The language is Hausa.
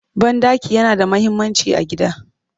Banɗaki yana da muhimmanci a gida